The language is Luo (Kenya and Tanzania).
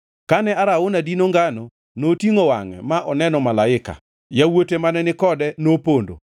Kane Arauna dino ngano, notingʼo wangʼe ma oneno malaika, yawuote mane ni kode nopondo.